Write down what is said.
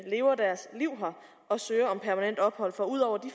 lever deres liv her og søger om permanent ophold for ud over de